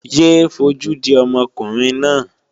Yé é fojú di ọmọkùnrin náà!